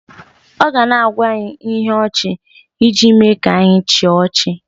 ọ ga na-agwa anyị ihe ọchị iji mee ka anyị chịa ọchị